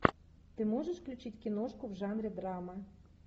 ты можешь включить киношку в жанре драма